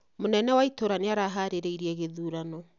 Munene ya itũra nĩ araharĩrĩirie gĩthurano